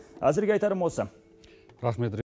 әзірге айтарым осы рахмет ри